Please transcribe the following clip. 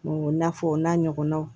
I n'a fɔ o n'a ɲɔgɔnnaw